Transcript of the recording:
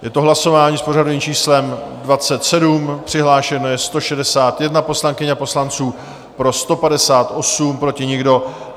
Je to hlasování s pořadovým číslem 27, přihlášeno je 161 poslankyň a poslanců, pro 158, proti nikdo.